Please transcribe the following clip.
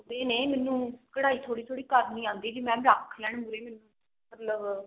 ਸਿੱਖਦੇ ਨੇ ਮੈਨੂੰ ਕਢਾਈ ਥੋੜੀ ਥੋੜੀ ਕਰਨੀ ਆਉਂਦੀ ਜੇ mam ਰੱਖ ਲੈਣ ਉਰੇ ਮਤਲਬ